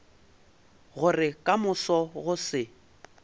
gore ka moso go se